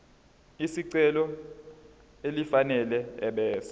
lesicelo elifanele ebese